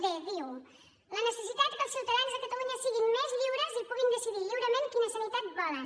dnecessitat que els ciutadans de catalunya siguin més lliures i puguin decidir lliurement quina sanitat volen